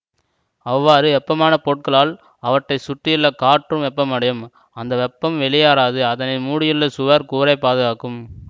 அவ்வாறு வெப்பமான பொருட்களால் அவற்றை சுற்றியுள்ள காற்றும் வெப்பமடையும் அந்த வெப்பம் வெளியேறாது அதனை மூடியுள்ள சுவர் கூரை பாதுகாக்கும்